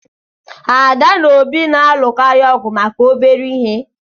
Ada na Obi na-alụkarị ọgụ maka obere ihe